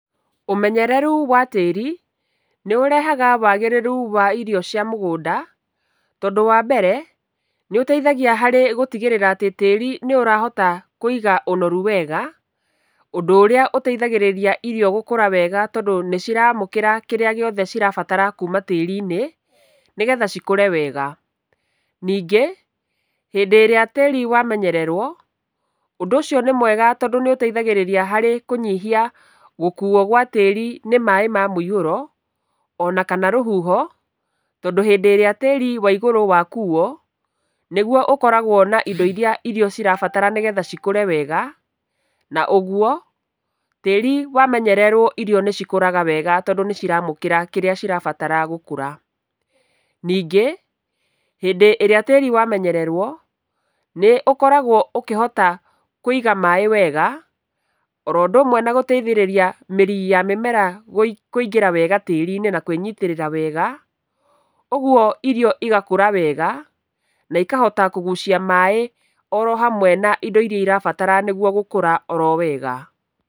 Ũmenyereru wa tĩri nĩ ũrehaga wagĩrĩru wa irio cia mũgũnda, tondũ wa mbere, nĩ ũteithagia harĩ gũtigĩrĩra atĩ tĩri nĩ ũrahota kũiga ũnorũu wega. Ũndũ ũrĩa ũteithagĩrĩraia irio gũkũra wega tondũ nĩciramũkĩra kĩrĩa gĩothe cirabatara kuma tĩri-inĩ nĩgetha cikũre wega. Ningi, hĩndĩ ĩrĩa tĩri wamenyererũo, ũndũ ũcio nĩ mwega tondũ nĩ ũteithagĩrĩragia harĩ kũnyihia gũkuo gwa tĩri nĩ maĩ ma mũihũro ona kaNA rũhuho tondũ hĩndĩ ĩrĩa tĩri wa igũrũ wakuo, nigũo ũkoragũo na indo iria irio irabatara nĩgũo ikũre wega, na ũguo tĩri wamenyererũo irio nĩ cikũraga wega tondũ nĩ ciramũkĩra kĩrĩa cirabatara gũkũra. Ningĩ hĩndĩ ĩrĩa tĩri wamenyererũo, nĩ ũkoragũo ũkihota kũiga maĩ wega oro ũndũ ũmwe na gũteithĩrĩria kũiga mĩri ya mĩmera kũingĩra wega tĩri-inĩ na kũĩnyitĩrĩra wega. Ũguo irio igakũra wega na ikahota kũgũcia maĩ oro hamwe na indo iria irabatara nĩguo gũkũra oro wega.